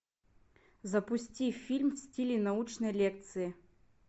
запусти фильм в стиле научной лекции